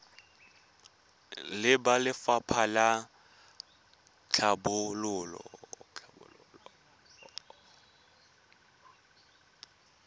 le ba lefapha la tlhabololo